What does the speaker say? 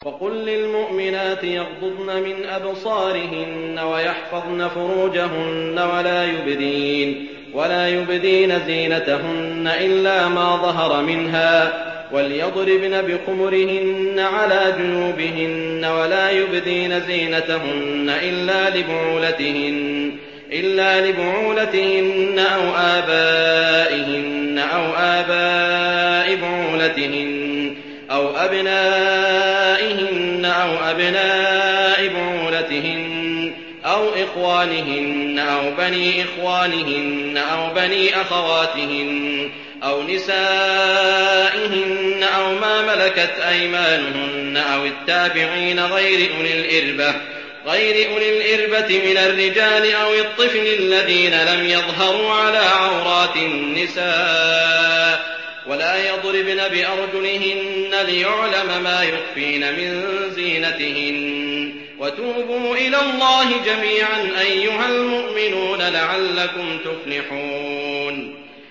وَقُل لِّلْمُؤْمِنَاتِ يَغْضُضْنَ مِنْ أَبْصَارِهِنَّ وَيَحْفَظْنَ فُرُوجَهُنَّ وَلَا يُبْدِينَ زِينَتَهُنَّ إِلَّا مَا ظَهَرَ مِنْهَا ۖ وَلْيَضْرِبْنَ بِخُمُرِهِنَّ عَلَىٰ جُيُوبِهِنَّ ۖ وَلَا يُبْدِينَ زِينَتَهُنَّ إِلَّا لِبُعُولَتِهِنَّ أَوْ آبَائِهِنَّ أَوْ آبَاءِ بُعُولَتِهِنَّ أَوْ أَبْنَائِهِنَّ أَوْ أَبْنَاءِ بُعُولَتِهِنَّ أَوْ إِخْوَانِهِنَّ أَوْ بَنِي إِخْوَانِهِنَّ أَوْ بَنِي أَخَوَاتِهِنَّ أَوْ نِسَائِهِنَّ أَوْ مَا مَلَكَتْ أَيْمَانُهُنَّ أَوِ التَّابِعِينَ غَيْرِ أُولِي الْإِرْبَةِ مِنَ الرِّجَالِ أَوِ الطِّفْلِ الَّذِينَ لَمْ يَظْهَرُوا عَلَىٰ عَوْرَاتِ النِّسَاءِ ۖ وَلَا يَضْرِبْنَ بِأَرْجُلِهِنَّ لِيُعْلَمَ مَا يُخْفِينَ مِن زِينَتِهِنَّ ۚ وَتُوبُوا إِلَى اللَّهِ جَمِيعًا أَيُّهَ الْمُؤْمِنُونَ لَعَلَّكُمْ تُفْلِحُونَ